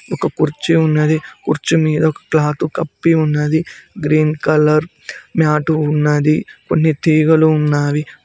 ఒక కుర్చీ ఉన్నది కుర్చీ మీద ఒక క్లాత్ కప్పి ఉన్నది గ్రీన్ కలర్ మ్యాటు ఉన్నది కొన్ని తీగలు ఉన్నాయి.